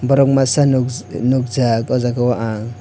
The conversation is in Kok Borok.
borok masa nos nogjak o jaga o ang.